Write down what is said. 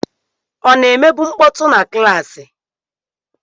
Ọ na-emebu mkpọtụ na klaasị?